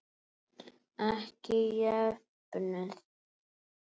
Ekki jöfnuð.